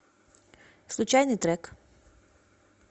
случайный трек